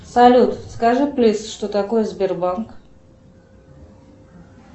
салют скажи плиз что такое сбербанк